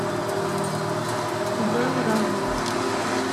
вэллран